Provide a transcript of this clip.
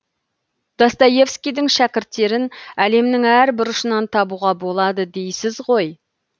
достоевскийдің шәкірттерін әлемнің әр бұрышынан табуға болады дейсіз ғой